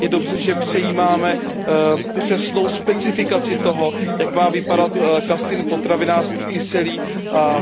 Je dobře, že přejímáme přesnou specifikaci toho, jak má vypadat kasein potravinářský kyselý,